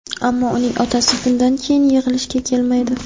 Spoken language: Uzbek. Ammo uning otasi bundan keyin yig‘ilishga kelmaydi.